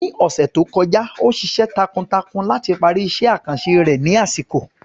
Ní ọ̀sẹ̀ tó kọjá, ó ṣiṣẹ́ takuntakun láti parí iṣẹ́ àkànṣe rẹ̀ ní àsìkò.